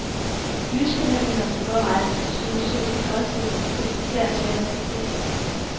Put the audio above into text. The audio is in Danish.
Lysbehandlinger og sågar rejser til sydens sol kan også hjælpe på de især svære tilfælde.